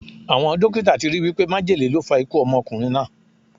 Awọn dokita ti ri wipe májèlé ló fa ikú ọmọkunrin naa